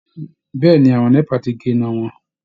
Bẹ́ẹ ni, àwọn NEPA ti gé iná wọn